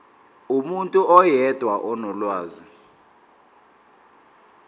umuntu oyedwa onolwazi